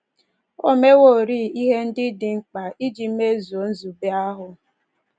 O meworị ihe ndị dị mkpa iji mezuo nzube ahụ